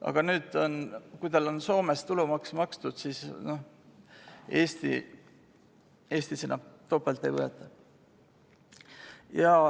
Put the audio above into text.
Aga nüüd on nii, et kui inimesel on Soomes tulumaks makstud, siis Eestis seda enam topelt ei võeta.